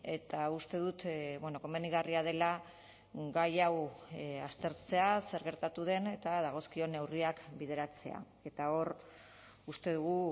eta uste dut komenigarria dela gai hau aztertzea zer gertatu den eta dagozkion neurriak bideratzea eta hor uste dugu